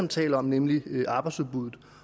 taler om nemlig arbejdsudbuddet